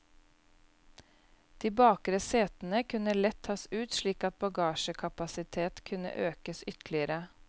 De bakre setene kunne lett tas ut slik at bagasjekapasitet kunne økes ytterligere.